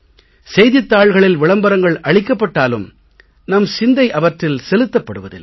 செய்தித் தாள்களில் விளம்பரங்கள் அளிக்கப்பட்டாலும் நம் சிந்தை அவற்றில் செலுத்தப்படுவதில்லை